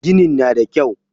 Ginin na da kyau.